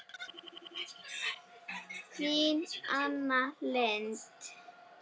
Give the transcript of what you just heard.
Þín Anna Lind.